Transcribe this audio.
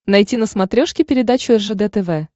найти на смотрешке передачу ржд тв